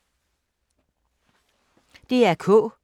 DR K